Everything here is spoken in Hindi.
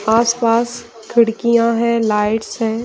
आस-पास खिड़कियाँ हैं लाइट्स हैं --